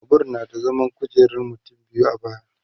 Babur na da kujerar zaman mutum biyu